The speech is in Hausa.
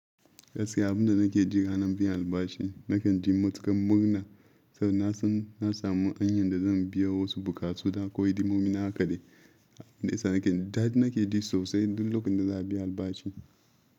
Gaskiya abinda nake ji ranan biyan albashi, nakan ji matuƙan murna saboda na samu hanyar da zan biya wasu buƙatu da ko idan mun min haka dai. Dadi nake ji sosai duk lokacin da za a biya albashi.